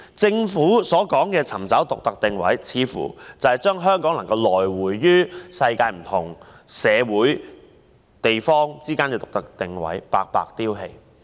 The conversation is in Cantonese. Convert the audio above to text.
政府所說的尋找獨特定位，似乎是將香港能夠游走於世界各國社會之間的獨特定位白白丟棄。